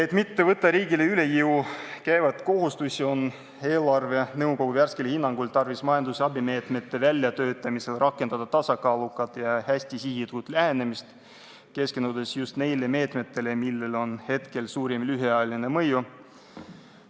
Et mitte võtta riigile üle jõu käivaid kohustusi, on eelarvenõukogu värskel hinnangul tarvis majanduse abimeetmete väljatöötamisel rakendada tasakaalukat ja hästi sihitud lähenemist, keskendudes just neile meetmetele, millel on suurim lühiajaline mõju.